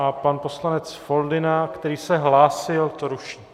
A pan poslanec Foldyna, který se hlásil, to ruší.